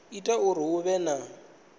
ita uri hu vhe na